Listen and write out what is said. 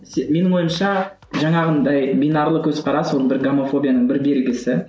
менің ойымша жаңағындай бинарлы көзқарас ол бір гомофобияның бір белгісі